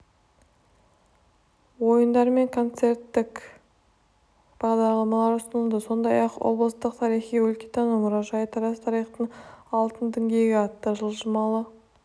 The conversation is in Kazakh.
ойындар мен концерттік бағдарламалар ұсынылды сондай-ақ облыстық тарихи-өлкетану мұражайы тараз тарихтың алтын діңгегі атты жылжымалы